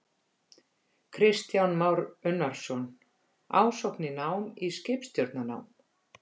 Kristján Már Unnarsson: Ásókn í nám í skipstjórnarnám?